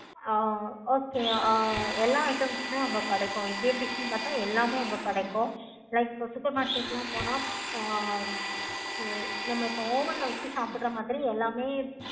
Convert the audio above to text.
ஆஹ் okay ah எல்லா item உம் கிடைக்கும். எல்லாமே அங்க கிடைக்கும். like இப்ப supermarket லாம் பார்த்த ஆஹ் so நம்ம இப்ப oven வச்சி சாப்பிடுற மாதிரி எல்லாமே